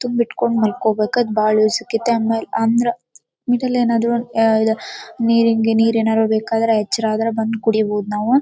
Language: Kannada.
ತುಂಬಿಟ್ಕೊಂಡ್ ಮಲ್ಕೊಬೇಕಾ ಅದ್ ಬಹಳ ಯೂಸ್ ಅಯ್ತೈತೆ. ಆಮೇಲ್ ಅಂದ್ರ ಮಿಡ್ಲ್ ಏನಾದ್ರು ಇದ್ ಆಹ್ಹ್ ನೀರ್ ಏನಾದ್ರು ಬೇಕಾದ್ರೆ ಎಚ್ಚರ ಆದ್ರೆ ಬಂದ್ ಕುಡೀಬಹುದು.